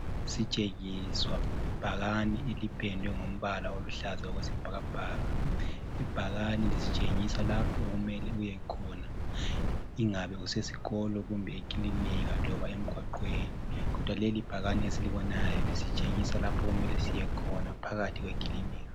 Sitshengiswa ibhakani elipendwe ngombala oluhlaza okwesibhakabhaka, ibhakani lisitshengisa lapho okumele uyekhona ingabe usesikolo kumbe kilinika loba emgwaqweni, kodwa lelibhakani lisitshengisa lapho okumele siyekhona phakathi kwekilinika.